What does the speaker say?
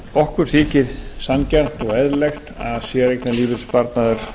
okkur þykir sanngjarnt og eðlilegt að séreignarlífeyrissparnaður